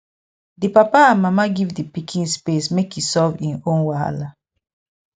di papa and mama give di pikin space make e solve im own wahala